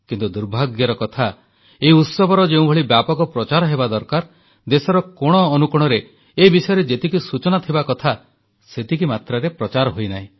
କିନ୍ତୁ ଦୁର୍ଭାଗ୍ୟର କଥା ଏହି ଉତ୍ସବର ଯେଉଁଭଳି ବ୍ୟାପକ ପ୍ରଚାର ହେବା ଦରକାର ଦେଶର କୋଣ ଅନୁକୋଣରେ ଏ ବିଷୟରେ ଯେତିକି ସୂଚନା ଥିବା କଥା ସେତିକି ମାତ୍ରାରେ ପ୍ରଚାର ହୋଇନାହିଁ